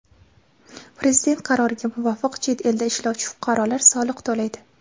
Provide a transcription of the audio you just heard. Prezident qaroriga muvofiq chet elda ishlovchi fuqarolar soliq to‘laydi.